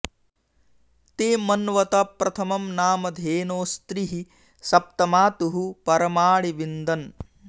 ते मन्वत प्रथमं नाम धेनोस्त्रिः सप्त मातुः परमाणि विन्दन्